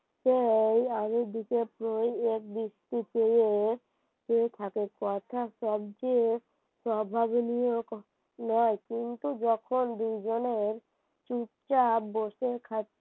বৃষ্টিতে ও নয় কিন্তু যখন দুইজনের চুপচাপ বসে খাচ্ছি